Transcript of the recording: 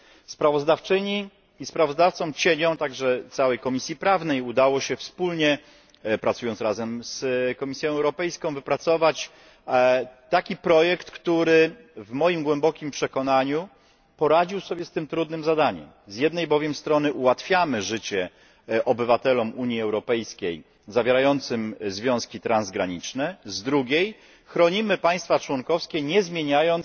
Sprawozdawczyni i kontrsprawozdawcom, a także całej Komisji Prawnej, udało się wspólnie z Komisją Europejską wypracować taki projekt, który w moim głębokim przekonaniu poradził sobie z tym trudnym zadaniem. Z jednej bowiem strony ułatwiamy życie obywatelom Unii Europejskiej zawierającym związki transgraniczne, z drugiej chronimy państwa członkowskie, ponieważ nie zmieniamy